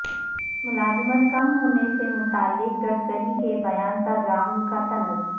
ملازمت کم ہونے سے متعلق گڈکری کے بیان پر راہل کا طنز